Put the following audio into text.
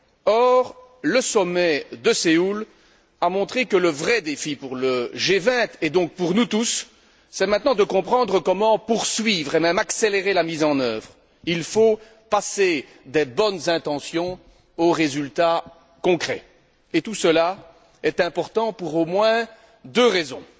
Or, le sommet de Séoul a montré que le vrai défi pour le G20, et donc pour nous tous, est de comprendre maintenant comment poursuivre et même accélérer la mise en œuvre. Il faut passer des bonnes intentions aux résultats concrets, et tout cela est important pour au moins deux raisons.